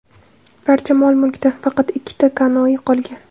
Barcha mol-mulkdan faqat ikkita kanoe qolgan.